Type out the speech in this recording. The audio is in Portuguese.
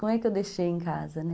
Como é que eu deixei em casa, né?